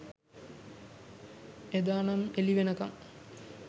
එදා නම් එලි වෙනකං